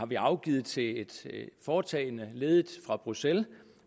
vi har afgivet til et foretagende ledet fra bruxelles og